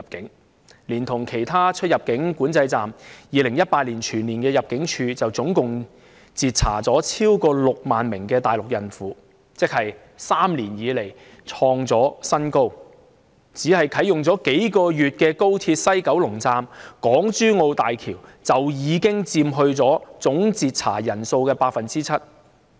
如果連同其他出入境管制站，入境處在2018年全年便截查了超過6萬名大陸孕婦，創了3年來的新高，而當中，剛啟用了數個月的高鐵西九龍站和港珠澳大橋香港口岸，已佔總截查人數的 7%。